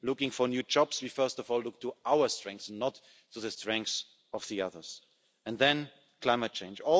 Looking for new jobs, we first of all look to our strengths and not to the strengths of the others. And then climate change.